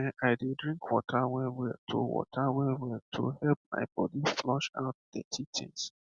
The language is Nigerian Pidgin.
ehn i dey drink water wellwell to water wellwell to help my body flush out dirty things